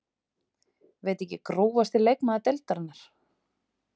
veit ekki Grófasti leikmaður deildarinnar?